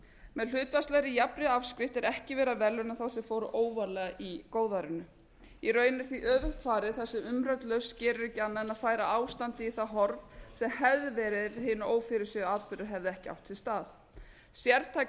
með hlutfallslegri jafnri afskrift er ekki verið að verðlauna þá sem fóru óvarlega í góðærinu í raun er því öfugt farið þar sem umrædd lausn gerir ekki annað en að færa ástandið í það horf sem hefði verið ef hinir ófyrirséðu atburðir hefðu ekki átt sér stað sértækar